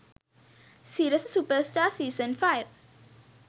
sirasa superstar season 5